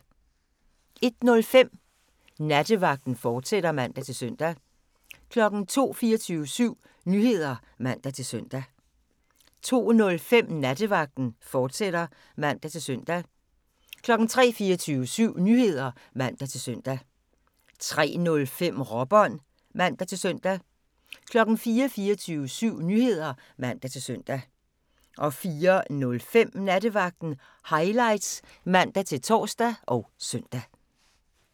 01:05: Nattevagten, fortsat (man-søn) 02:00: 24syv Nyheder (man-søn) 02:05: Nattevagten, fortsat (man-søn) 03:00: 24syv Nyheder (man-søn) 03:05: Råbånd (man-søn) 04:00: 24syv Nyheder (man-søn) 04:05: Nattevagten Highlights (man-tor og søn)